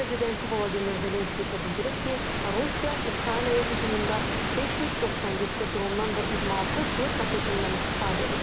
Prezident Vladimir Zelenski isə bildirib ki, Rusiya Ukraynaya hücumunda 597 drondan və 26 kruiz raketindən istifadə edib.